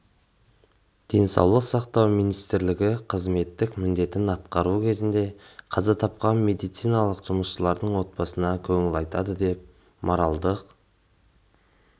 денсаулық сақтау министрлігі қызметтік міндетін атқару кезінде қаза тапқан медициналық жұмысшылардың отбасыларына көңіл айтады және моральдық